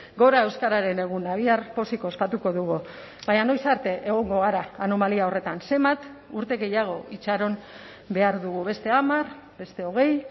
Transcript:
gora euskararen eguna bihar pozik ospatuko dugu baina noiz arte egongo gara anomalia horretan zenbat urte gehiago itxaron behar dugu beste hamar beste hogei